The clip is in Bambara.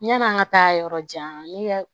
Yann'an ka taa yɔrɔ jan ne